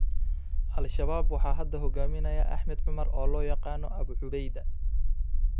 Al-Shabab waxaa hadda hogaamiya Axmad Cumar oo loo yaqaan Abu Cubeyda.